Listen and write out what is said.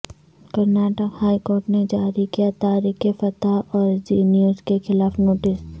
Karnataka high court نے جاری کیا طارق فتح اور زی نیوز کے خلاف نوٹس